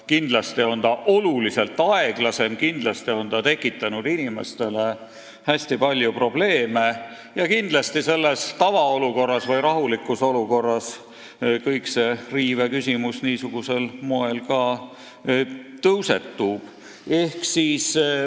Kindlasti on kõik käinud väga aeglaselt, kindlasti on see tekitanud inimestele hästi palju probleeme ja kindlasti tõusetub nüüd rahulikus olukorras ka see õiguste riive küsimus.